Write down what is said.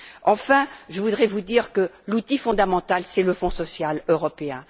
Enfin, je voudrais dire que l'outil fondamental est le Fonds social européen.